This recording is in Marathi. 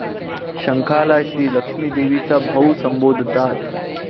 शंखाला श्री लक्ष्मी देवीचा भाऊ संबोधतात.